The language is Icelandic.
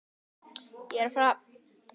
Stuttu fyrir jól kom Ari heim til Hóla.